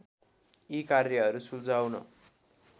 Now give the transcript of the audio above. यी कार्यहरू सुल्झाउन